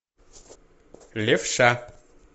левша